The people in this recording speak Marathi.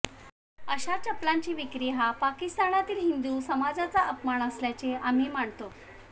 अशा चप्पलांची विक्री हा पाकिस्तानातील हिंदू समाजाचा अपमान असल्याचे आम्ही मानतो